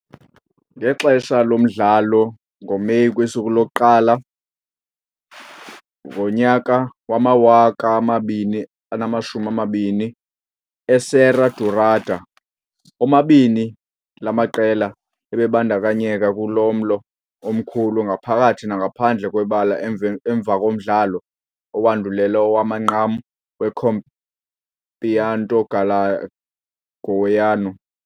Ngexesha lomdlalo ngoMeyi 1, 2011 eSerra Dourada, omabini la maqela ebebandakanyeka kumlo omkhulu ngaphakathi nangaphandle kwebala emveni emva komdlalo owandulela owamanqam weCampeonato Goiano.